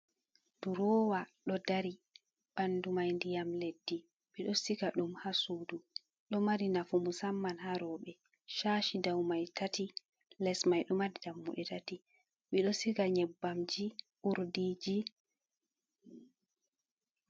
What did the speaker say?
Durowa ɗo dari bandu mai ndiyam Leddi. Ɓido siga ɗum ha Sudu, ɗo mari nafu musamman ha Roɓe Shashi dau mai tati, Les mai ɗo dammuɗe tati, ɓeido Siga Nyebbamji urdiji.